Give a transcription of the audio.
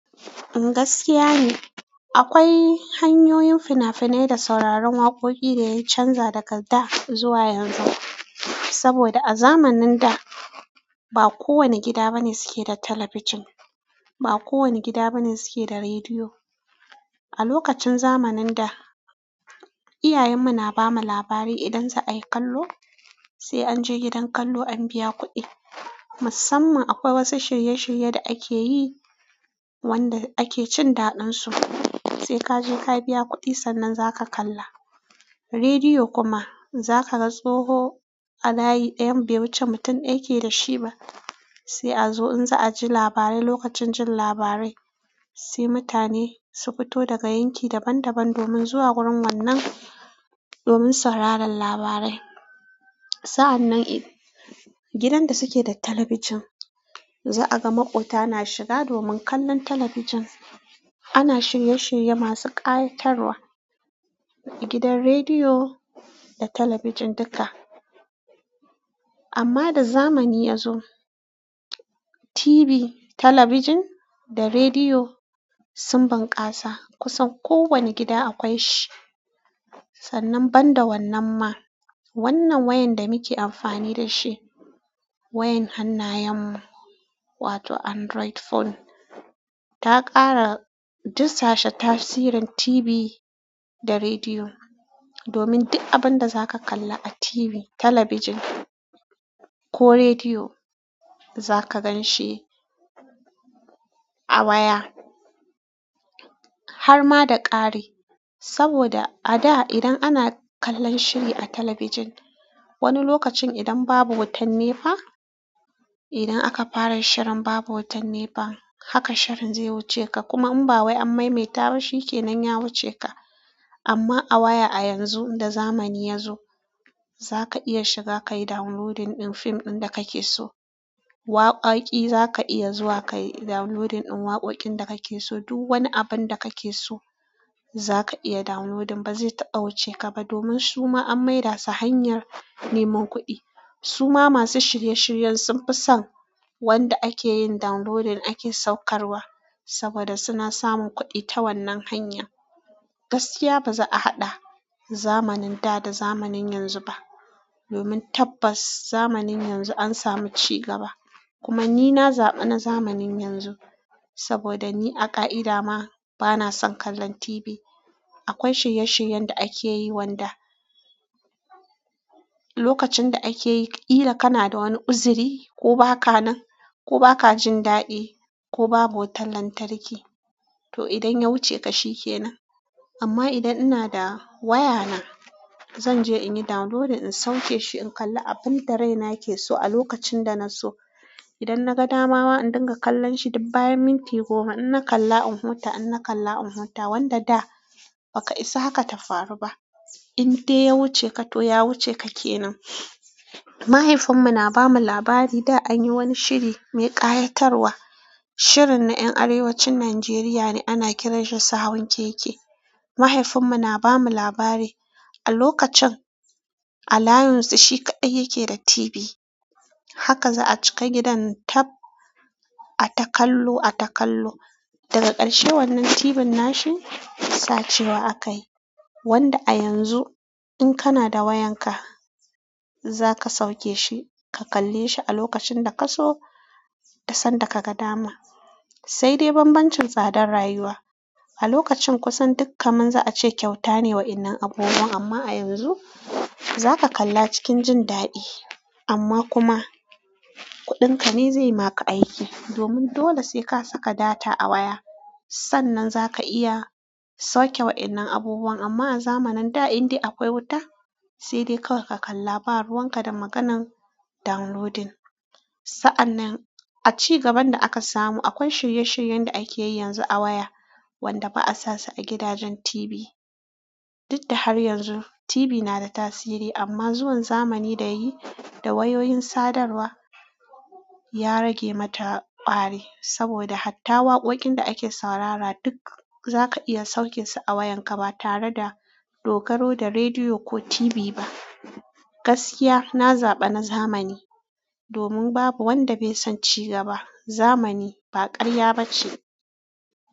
Gaskiya ne, akwai hanyoyin fina-finai da sauraron waƙoƙi da ya canza daga daa zuwa yanzun. Saboda a zamanin da, ba kowane gida bane suke da talabijin, ba kowane gida bane suke da rediyo. A lokacin zamanin da, iyayen mu na bamu labari idan za ayi kallo, sai an je gidan kallo an biya kuɗi. Musamman akwai wasu shirye-shirye da akeyi wanda ake cin daɗin su, sai kaje ka biya kuɗi sannan zaka kalla. Rediyo kuma zaka ga tsoho a layi ɗayan bai wuce mutum ɗa yake da shi ba. Sai a zo in za a ji labarai, lokacin jin labarai sai mutane su fito daga yankin daban daban domin zuwa wurin wannan, domin sauraron labarai. Sa'annan idan gidan da suke da talabijin, za a ga maƙwabta na shiga domin kallon talabijin. Ana shirye-shirye masu ƙayatarwa gidan rediyo da talabijin duka. Amma da zamani ya zo, TV, talabijin da rediyo sun bunƙasa kusan kowane gida akwai shi. Sannan ban da wannan ma, wannan wayan da muke amfani da shi, wayan hannayen mu, wato Android phone ta ƙara dusashe tasirin TV da rediyo. Domin duk abun da zaka kalla a TV, talabijin ko rediyo zaka gan shi a waya. Har ma da ƙari. Saboda a da idan ana kallon shiri a talabijin, wani lokacin idan babu wutan nepa, idan aka fara shirin babu wutan nepa, haka shirin zai wuce ka. Kuma in ba wai an maimaita ba shikenan ya wuce ka. Amma a waya a yanzu da zamani ya zo, zaka iya shiga kayi downloading ɗin fim ɗin da kake so. Waƙaƙi zaka iya zuwa kayi downloading ɗin waƙoƙin da kake so. Duk wani abun da kake so zaka iya downloading ba zai taɓa wuce ka ba. Domin suma an maida su hanyar neman kuɗi. Suma masu shirye-shiryen sun fi san wanda akeyin downloading ake saukarwa saboda suna samun kuɗi ta wannan hanya. Sannan ban da wannan ma, wannan wayan da muke amfani da shi, wayan hannayen mu, wa toh Android phone ta ƙara dusashe tasirin TV da rediyo. Domin tabbas zamanin yanzun an samu cigaba. Kuma ni na zaɓi na zamanin yanzu saboda ni a ƙa'ida ma bana son kallon TV. Akwai shirye-shiryen da akeyi wanda lokacin da ake yi ƙila kana da wanni uzuri ko baka nan ko baka jin daddi ko babu wutar lantarki toh idan ya wucce ka shikenan amma idan ina da wayana zan je inyi downloading in sauke shi in kalla abunda raina ke so a lokacin dana so. Idan na gan dama wa in dinga kallonshi bayan minti goma. Ina kalla in huta, ina kalla in huta. Wanda daa baka isa hakan ta faru ba. In dai ya wucce ka toh ya wucce ka kenan. Mahaifin mu na bamu labari daa anyi wanni shiri mai ƙayatarwa shirin ne en Arewancin Nijeria ake kiranshi sa'a'o'in keke. Mahaifinmu na bamu labari a lokacin a layinsu shi kaɗai yake da Tv haka za'a cika gidan kab. Da ƙarshe wannan TV nashi sacewa aka yi. Wanda a yanzun in kana da wayanka zaka sauke she ka kalle shi a lokacin da ka so da sanda ka gan dama. Sai dai bambamcin tsadar rayuwa. A lokacin kusan dukanman za'a ce kyauta ne waennan abubuwa ama a yanzun. Zaka kalla a cikin jin daddi ama kuma. Kuɗin ka ne zai maka aiki. Domin dole sai ka saka data a waya sannan zaka iya sauke wa'innan abubuwan. Amma a zamanin da in dai akwai wuta sai dai kawai ka kalla ba ruwan ka da maganan downloading. Sa'annan a cigaban da aka samu akwai shirye-shiryen da akeyi yanzu a waya wanda ba a sasu a gidajen TV. Duk da har yanzu TV na da tasiri amma zuwan zamani da yi da wayoyin sadarwa ya rage mata ƙwari saboda hatta waƙoƙin da ake saurara duk zaka iya sauke su a wayan ka ba tare da dogaro da rediyo ko TV ba. Gaskiya na zaɓa na zamani domin babu wanda bai san cigaba. Zamani ba ƙarya ba ce.